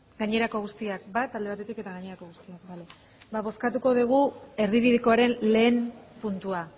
gainerako guztiak bat alde batetik eta gainerako guztiak bozkatuko dugu erdibidekoaren lehen puntua